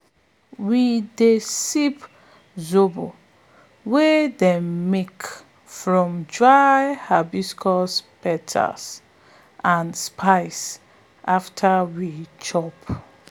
we dey sip zobo wey dem make from dry hibiscus petals and spcie after we chop